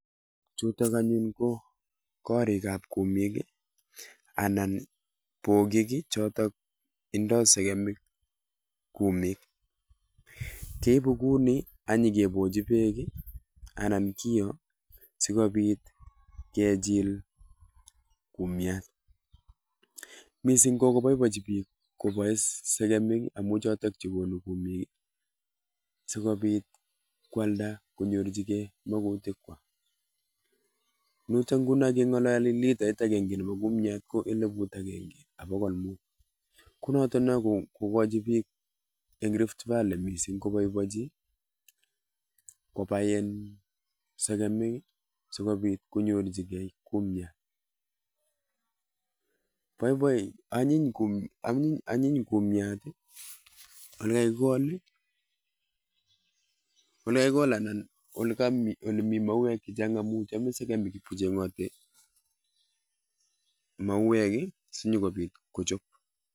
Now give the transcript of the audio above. Chutok anyun ko korikab kumik, anan bogik chotok indoi segemik kumik. Keibu kumik ak nyikebochi bek anan kio sikobit kichil kumyat. Mising ko kobobochi bik koboei segemik amun chotok chekonu kumik, sikobit koalda konyorchigei mogutik kwai. Yutok nguno keng'ololi ko litait agenge nebo kumyat ko eliput agenge ak bokol mut. Ko notok no kokachi bik eng Riftvalley mising ko boibochi, kobai segemik sikobit konyorchigei kumyat. Anyiny kumyat, ole kakikol anan ole mi mauek che chang anu chamei segemik kocheng'oti mauek sinyokobit kochop.